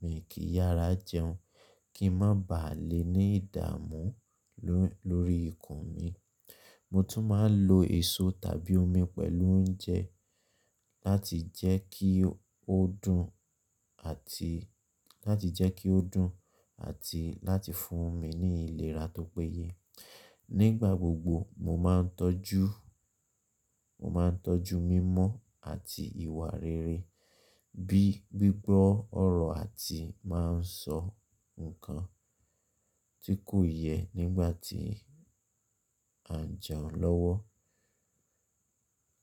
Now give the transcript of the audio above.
mi kì í yára jẹun kí n má baà lè ní ìdààmú lórí ikù mi. Mo tún máa ń lo èso tàbí omi pẹ̀lú oúnjẹ láti jẹ́ kí ó dùn àti láti fún mi ní ìlera tó péye. Nígbà gbogbo, mo máa ń tọ́jú mímọ́ àti ìwà rere bíi gbígbọ́ ọ̀rọ̀ àti máa ń sọ nǹkan tí kò yẹ nígbàtí à jẹun lọ́wọ́.